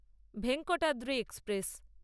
Venkatadri express